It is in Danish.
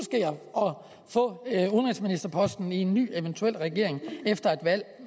få udenrigsministerposten i en ny regering efter et valg